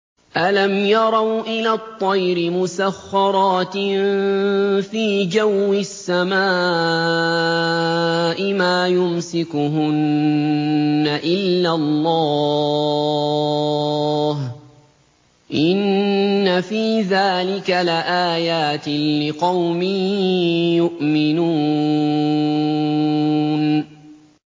أَلَمْ يَرَوْا إِلَى الطَّيْرِ مُسَخَّرَاتٍ فِي جَوِّ السَّمَاءِ مَا يُمْسِكُهُنَّ إِلَّا اللَّهُ ۗ إِنَّ فِي ذَٰلِكَ لَآيَاتٍ لِّقَوْمٍ يُؤْمِنُونَ